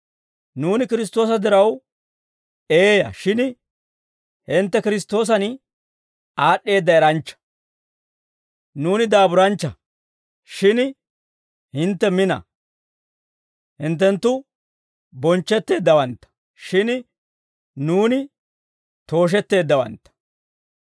Nuuni Kiristtoosa diraw eeyaa, shin hintte Kiristtoosan aad'd'eedda eranchcha. Nuuni daaburanchcha, shin hintte mina. Hinttenttu bonchchetteeddawantta, shin nuuni tooshetteeddawantta.